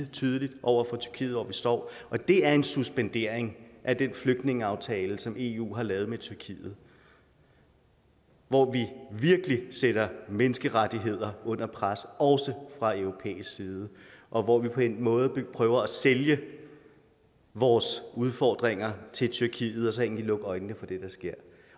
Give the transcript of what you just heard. tydeligt over for tyrkiet hvor vi står og det er en suspendering af den flygtningeaftale som eu har lavet med tyrkiet hvor vi virkelig sætter menneskerettigheder under pres også fra europæisk side og hvor vi på en måde prøver at sælge vores udfordringer til tyrkiet og så egentlig lukke øjnene for det der sker